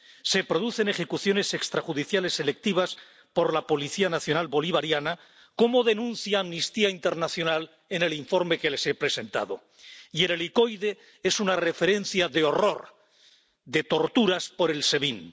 Se producen ejecuciones extrajudiciales selectivas por la policía nacional bolivariana, como denuncia Amnistía Internacional en el informe que les he presentado, y el Helicoide es una referencia de horror, de torturas por el SEBIN.